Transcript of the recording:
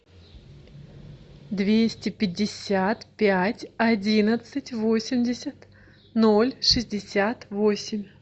двести пятьдесят пять одиннадцать восемьдесят ноль шестьдесят восемь